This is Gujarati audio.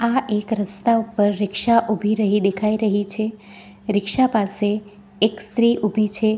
આ એક રસ્તા ઉપર રીક્ષા ઉભી રહી દેખાઈ રહી છે રીક્ષા પાસે એક સ્ત્રી ઉભી છે.